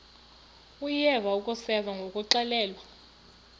uyeva akuseva ngakuxelelwa